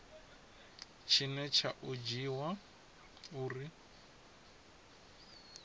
tshine tsha o dzhiiwa uri